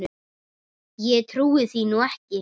Ég trúi því nú ekki.